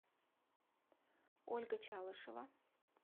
ольга чалышева